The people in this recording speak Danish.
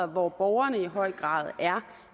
hvor borgerne i høj grad er